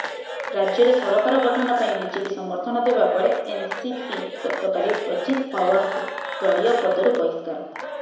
ରାଜ୍ୟରେ ସରକାର ଗଠନ ପାଇଁ ବିଜେପି ସମର୍ଥନ ଦେବା ପରେ ଏନସିପି ଗତକାଲି ଅଜିତ୍ ପାୱାରଙ୍କୁ ଦଳୀୟ ପଦରୁ ବହିଷ୍କାର